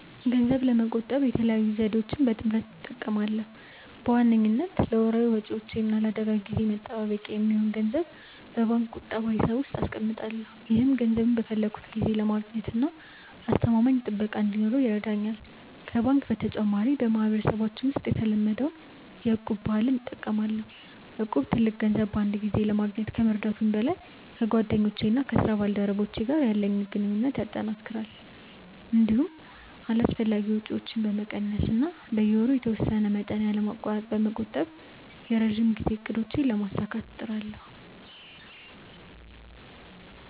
ገንዘብ ለመቆጠብ የተለያዩ ዘዴዎችን በጥምረት እጠቀማለሁ። በዋነኝነት ለወርሃዊ ወጪዎቼ እና ለአደጋ ጊዜ መጠባበቂያ የሚሆን ገንዘብ በባንክ ቁጠባ ሂሳብ ውስጥ አስቀምጣለሁ። ይህም ገንዘቡን በፈለግኩት ጊዜ ለማግኘትና አስተማማኝ ጥበቃ እንዲኖረው ይረዳኛል። ከባንክ በተጨማሪ፣ በማህበረሰባችን ውስጥ የተለመደውን የ'እቁብ' ባህል እጠቀማለሁ። እቁብ ትልቅ ገንዘብ በአንድ ጊዜ ለማግኘት ከመርዳቱም በላይ፣ ከጓደኞቼና ከስራ ባልደረቦቼ ጋር ያለኝን ግንኙነት ያጠናክራል። እንዲሁም አላስፈላጊ ወጪዎችን በመቀነስ እና በየወሩ የተወሰነ መጠን ያለማቋረጥ በመቆጠብ የረጅም ጊዜ እቅዶቼን ለማሳካት እጥራለሁ።